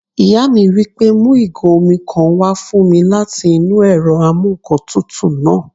Ìyá mi wí pé "mu ìgò omi kan wá fún mi láti inú ẹ̀rọ amúǹkantutù náà!"